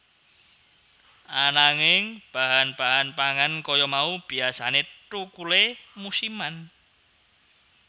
Ananging bahan bahan pangan kaya mau biyasané thukulé musiman